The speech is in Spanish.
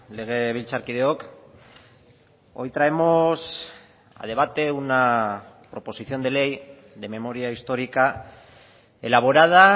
legebiltzarkideok hoy traemos a debate una proposición de ley de memoria histórica elaborada